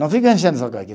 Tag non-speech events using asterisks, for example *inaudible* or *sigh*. Não fica enchendo *unintelligible*